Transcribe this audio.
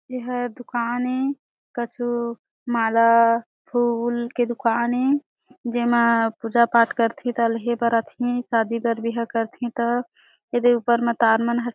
एहा दुकान ए कछु माला फूल के दुकान ए जेमा पूजा-पाठ करथे ता लेहे बर आथे शादी बर बिहा करथे ता एदे ऊपर म तार मन ह --